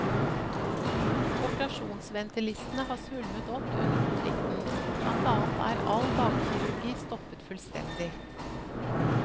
Operasjonsventelistene har svulmet opp under konflikten, blant annet er all dagkirurgi stoppet fullstendig.